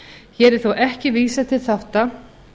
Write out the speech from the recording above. hér er þó ekki vísað til þátta